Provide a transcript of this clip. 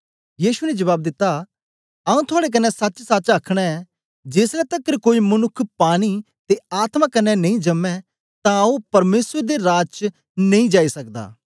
यीशु ने जबाब दित्ता आऊँ थुआड़े कन्ने सचसच अखनां ऐ जेसलै तकर कोई मनुक्ख पानी ते आत्मा कन्ने नेई जमै तां ओ परमेसर दे राज च नेई जाई सकदा